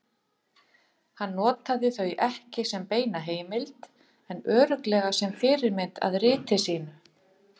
Hann notaði þau ekki sem beina heimild en örugglega sem fyrirmynd að riti sínu.